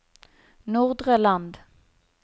Nordre Land